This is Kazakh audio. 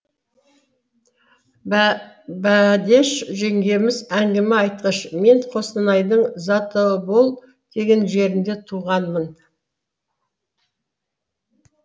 бәдеш жеңгеміз әңгіме айтқыш мен қостанайдың затобол деген жерінде туғанмын